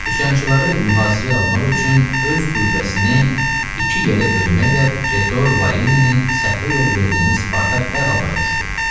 Üsyançıları mühasirəyə almaq üçün öz qüvvəsini iki yerə bölməklə Pretor Varinin səhvə yol verdiyini Spartak dərhal başa düşdü.